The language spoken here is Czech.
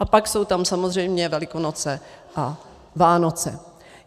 A pak jsou tam samozřejmě Velikonoce a Vánoce.